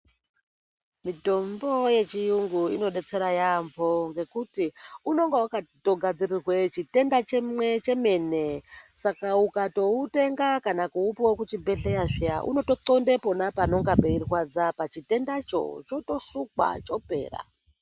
Mitombo yechiyungu inodetsera yaampho, ngekuti unonga wakatogadzirirwe chitenda chimwe chemene. Saka ukatoutenga kana kuupuva kuzvibhedhleya zviya, unotoqonde pona panenge peirwadza pachitendacho, chotosukwa chopera.